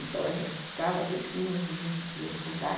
Então, a gente ficava às vezes quinze, vinte dias por lá.